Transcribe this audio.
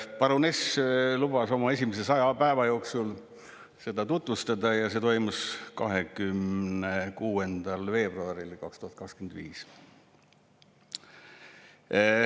Paruness lubas oma esimese saja päeva jooksul seda tutvustada ja see toimus 26. veebruaril 2025.